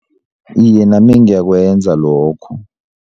Iye, nami ngiyakwenza lokho.